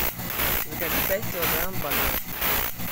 закажи пять килограмм бананов